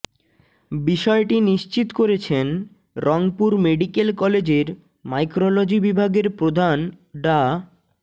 বিষয়টি নিশ্চিত করেছেন রংপুর মেডিকেল কলেজের মাইক্রোলজি বিভাগের প্রধান ডা